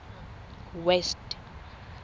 west